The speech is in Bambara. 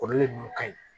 Kɔrɔlen ninnu ka ɲi